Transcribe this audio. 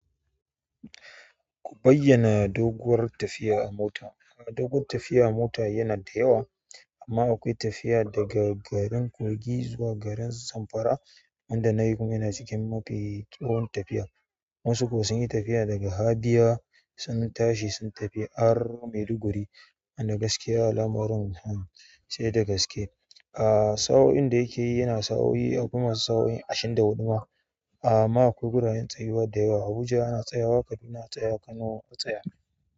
Ku bayyana doguwar tafiya a mota. Doguwar tafiya mota yana da yawa amma akwai tafiya daga garin kogi zuwa garin Zamfara wanda na yi kuma yana cikin mafi tsawon tafiya. Wasu kuwa sun yi tafiya daga Habiya sun tashi sun tafi har Maiduguri wanda gaskiya al'amarin sai da gaske. Aaa, sa'o'in da yake yi yana sa'o'i akwai masu sa'o'i ashirin da huɗu ma. A'a amma akwai guraren tsayuwa da yawa. Abuja ana tsayawa, Kaduna a tsaya, Kano a tsaya.